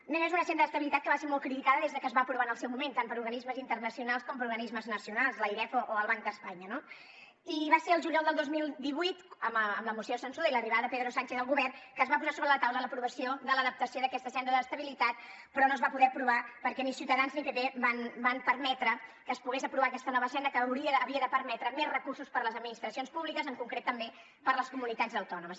a més a més una senda d’estabilitat que va ser molt criticada des de que es va aprovar en el seu moment tant per organismes internacionals com per organismes nacionals l’airef o el banc d’espanya no i va ser al juliol del dos mil divuit amb la moció de censura i l’arribada de pedro sánchez al govern que es va posar sobre la taula l’aprovació de l’adaptació d’aquesta senda d’estabilitat però no es va poder aprovar perquè ni ciutadans ni pp van permetre que es pogués aprovar aquesta nova senda que havia de permetre més recursos per a les administracions públiques en concret també per a les comunitats autònomes